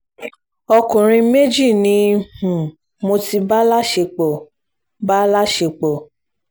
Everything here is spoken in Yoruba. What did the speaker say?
ọkùnrin méjì ni um mo ti bá láṣepọ̀ bá láṣepọ̀